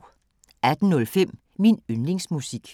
18:05: Min yndlingsmusik